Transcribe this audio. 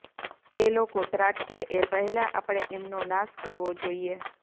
એ લોકો ત્રાટકે એ પહેલાં આપણે એમનો નાશ કરવો જોઈએ